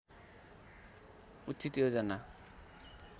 उचित योजना